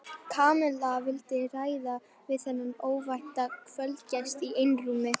Kamilla vildi ræða við þennan óvænta kvöldgest í einrúmi.